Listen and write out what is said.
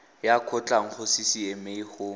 ya kgotlang go ccma go